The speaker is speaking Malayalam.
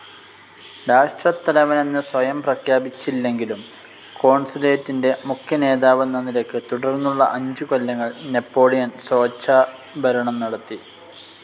രാഷ്ട്രത്തലവനെന്ന് സ്വയം പ്രഖ്യാപിച്ചില്ലെങ്കിലും, കോൺസുലേറ്റിൻ്റെ മുഖ്യ നേതാവെന്ന നിലക്ക് തുടർന്നുള്ള അഞ്ചു കൊല്ലങ്ങൾ നാപ്പോളിയൻ സ്വേച്ഛഭാരണം നടത്തി.